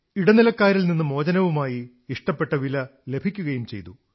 ഇടനിലക്കാരിൽ നിന്ന് മോചനവുമായി ഇഷ്ടപ്പെട്ട വില ലഭിക്കുകയും ചെയ്തു